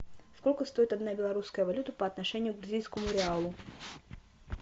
сколько стоит одна белорусская валюта по отношению к бразильскому реалу